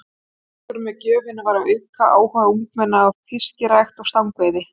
Tilgangurinn með gjöfinni var að auka áhuga ungmenna á fiskirækt og stangveiði.